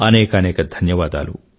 అనేకానేక ధన్యవాదాలు